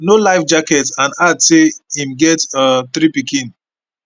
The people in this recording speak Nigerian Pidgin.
no life jacket and add say im get um three pikin